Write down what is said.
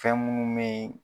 Fɛn munnu me ye